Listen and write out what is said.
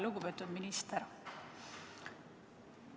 Lugupeetud minister!